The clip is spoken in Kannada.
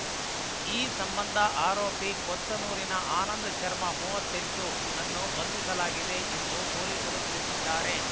ಈ ಸಂಬಂಧ ಆರೋಪಿ ಕೊತ್ತನೂರಿನ ಆನಂದ್‌ಶರ್ಮ ಮೂವತ್ತೆಂಟು ನನ್ನು ಬಂಧಿಸಲಾಗಿದೆ ಎಂದು ಪೊಲೀಸರು ತಿಳಿಸಿದ್ದಾರೆ